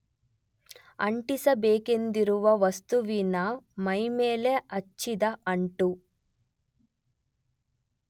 ಅಂಟಿಸಬೇಕೆಂದಿರುವ ವಸ್ತುವಿನ ಮೈಮೇಲೆ ಹಚ್ಚಿದ ಅಂಟು